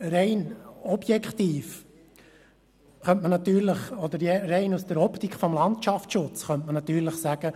Rein aus der Optik des Landschaftsschutzes könnte man natürlich sagen: